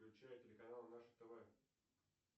включай телеканал наше тв